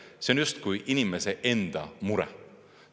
See on justkui inimese enda mure.